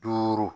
Duuru